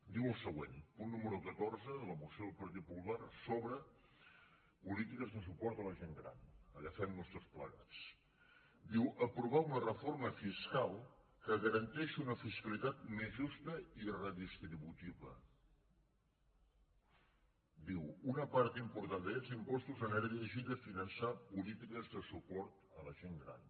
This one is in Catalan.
diu el següent punt número catorze de la moció del partit popular sobre polítiques de suport a la gent gran agafem nos tots plegats diu aprovar una reforma fiscal que garanteixi una fiscalitat més justa i redistributiva diu una part important d’aquests impostos anirà dirigida a finançar polítiques de suport a la gent gran